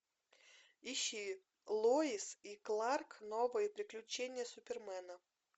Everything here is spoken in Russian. ищи луис и кларк новые приключения супермена